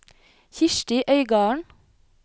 Kirsti Øygarden